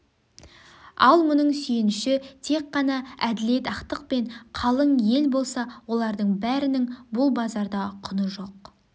ал мұның сүйеніші тек қана әделет ақтықпен қалың ел болса олардың бәрінің бұл базарда құны жоқ